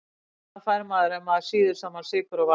Hvað fær maður ef maður sýður saman sykur og vatn?